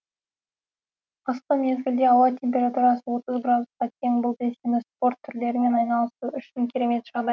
қысқы мезгілде ауа температурасы отыз градусқа тең бұл белсенді спорт түрлерімен айналысу үшін керемет жағдай